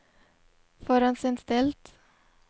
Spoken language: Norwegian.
forhåndsinnstilt